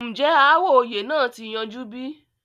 ǹjẹ́ ááwọ̀ oyè náà ti yanjú bí?